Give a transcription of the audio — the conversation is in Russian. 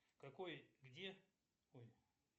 какой где ой